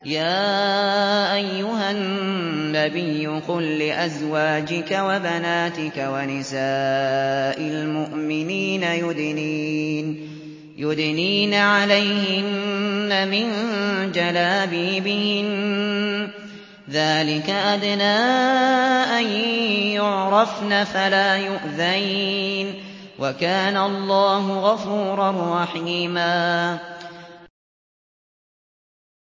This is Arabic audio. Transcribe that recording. يَا أَيُّهَا النَّبِيُّ قُل لِّأَزْوَاجِكَ وَبَنَاتِكَ وَنِسَاءِ الْمُؤْمِنِينَ يُدْنِينَ عَلَيْهِنَّ مِن جَلَابِيبِهِنَّ ۚ ذَٰلِكَ أَدْنَىٰ أَن يُعْرَفْنَ فَلَا يُؤْذَيْنَ ۗ وَكَانَ اللَّهُ غَفُورًا رَّحِيمًا